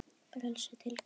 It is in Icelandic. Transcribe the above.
Frelsi til hvers?